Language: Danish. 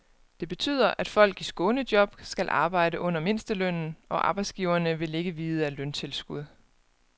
Det betyder, at folk i skånejob skal arbejde under mindstelønnen, og arbejdsgiverne vil ikke vide af løntilskud.